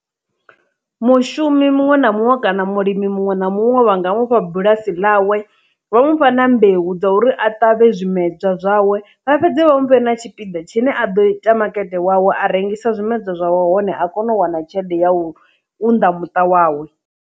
Mushumi muṅwe na muṅwe kana mulimi muṅwe na muṅwe vhanga mufha bulasi ḽawe vha mufha na mbeu dza uri a ṱavhe zwimedzwa zwawe vha fhedze vha mufhe na tshipiḓa tshine a ḓo ita makete wawe a rengisa zwimedzwa zwawe hone a kone u wana tshelede ya u unḓa muṱa wawe.